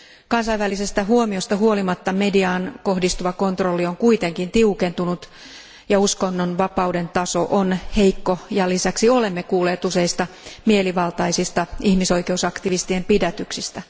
Kansainvälisestä huomiosta huolimatta mediaan kohdistuva kontrolli on kuitenkin tiukentunut ja uskonnonvapauden taso on heikko, ja lisäksi olemme kuulleet useista mielivaltaisista ihmisoikeusaktivistien pidätyksistä.